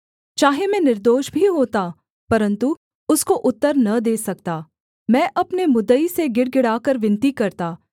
चाहे मैं निर्दोष भी होता परन्तु उसको उत्तर न दे सकता मैं अपने मुद्दई से गिड़गिड़ाकर विनती करता